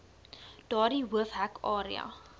daardie hoofhek area